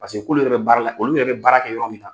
Paseke k'ulu yɛrɛ bɛ baara la olu yɛrɛ bɛ baara kɛ yɔrɔ min na.